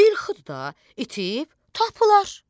İlxıdı da, itib, tapılar.